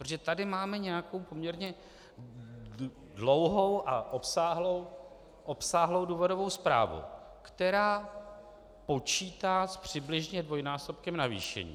Protože tady máme nějakou poměrně dlouhou a obsáhlou důvodovou zprávu, která počítá přibližně s dvojnásobkem navýšení.